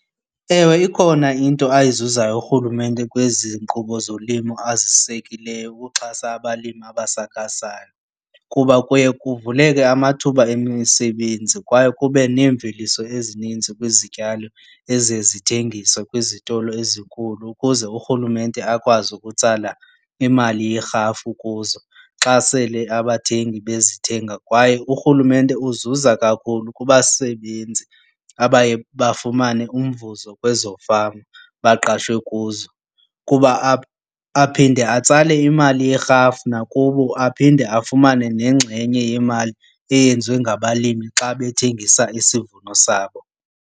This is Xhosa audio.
Ewe, ikhona into ayizuzayo urhulumente kwezi nkqubo zolimo azisekileyo ukuxhasa abalimi abasakhasayo kuba kuye kuvuleke amathuba emisebenzi. Kwaye kuba nemveliso ezininzi kwizityalo eziye zithengiswe kwizitolo ezinkulu ukuze urhulumente akwazi ukutsala imali yerhafu kuzo xa sele abathengi bezithenga. Kwaye urhulumente uzuza kakhulu kubasebenzi abaye bafumane umvuzo kwezo fama baqashwe kuzo kuba aphinde atsale imali yerhafu nakubo aphinde afumane nengxenye yemali eyenziwe ngabalimi xa bethengisile isivuno sabo.